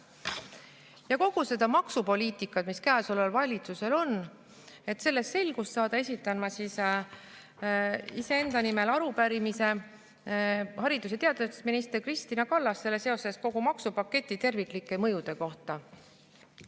Et kogu selles maksupoliitikas, mis käesoleval valitsusel on, selgust saada, esitan ma iseenda nimel arupärimise haridus- ja teadusminister Kristina Kallasele kogu maksupaketi terviklike mõjude kohta.